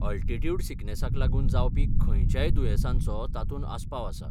Altitude सिकनेसाक लागून जावपी खंयच्याय दुयेंसांचो तातूंत आस्पाव आसा.